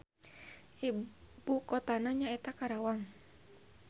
Ibukotana nyaeta Karawang.